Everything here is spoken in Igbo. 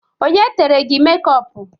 Onye tere gị mekọpu?